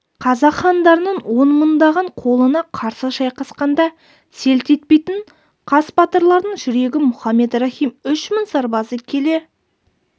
қазақ хандарының он мыңдаған қолына қарсы шайқасқанда селт етпейтін қас батырлардың жүрегі мұхаммед рахим үш мың сарбазы келе